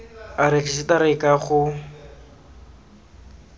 a rejisetara e ke go